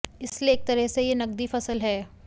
इसलिए एक तरह से यह नकदी फसल है